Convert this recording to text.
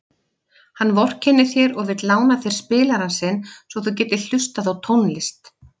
Hann vorkennir þér og vill lána þér spilarann sinn svo þú getir hlustað á tónlist.